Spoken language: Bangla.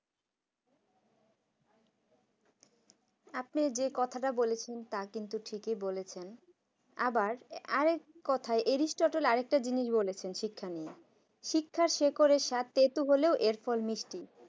আপনি যে কথাটা বলেছেন তা কিন্তু ঠিকই বলেছেন আবার আর এক কথায় অ্যায়রিস্টল আর একটা জিনিস বলেছেন শিক্ষা নিয়ে শিক্ষার শিখরে স্বার্থে তেতো হলেও এর ফল মিষ্টি